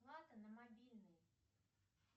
плата на мобильный